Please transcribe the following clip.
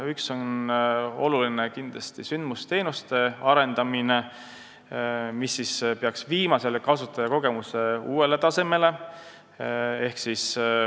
Üks oluline neist on kindlasti sündmusteenuste arendamine, mis peaks viima kasutajakogemuse uuele tasemele.